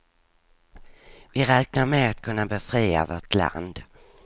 Vi räknar med att kunna befria vårt land.